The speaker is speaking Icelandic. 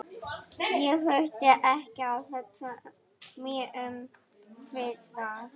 Ég þurfti ekki að hugsa mig um tvisvar.